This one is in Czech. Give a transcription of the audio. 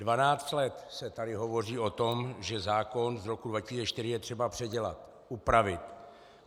Dvanáct let se tady hovoří o tom, že zákon z roku 2004 je třeba předělat, upravit.